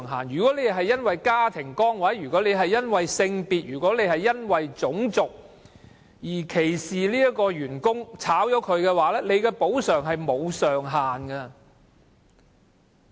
如果資方因為家庭崗位、性別或種族原因歧視某員工而將他解僱，須支付的補償金額沒有上限。